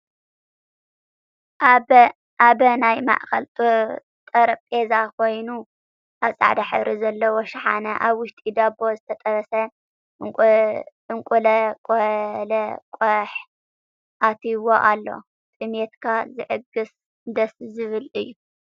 ኣበ ናይ ማእከል ጠረጵዛ ኮይኑ ኣብ ፃዕዳ ሕብሪ ዘለዎ ሽሓነ ኣብ ውሽጢ ዳቦ ዝተጠበሰ እንቁለቀለቀሕ አትይዎ ኣሎ። ጥምየትካ ዝዕግስን ደስ ዝብልን እዩ።